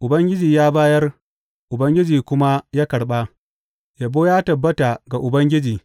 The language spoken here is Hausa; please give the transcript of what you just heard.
Ubangiji ya bayar, Ubangiji kuma ya karɓa; yabo ya tabbata ga Ubangiji.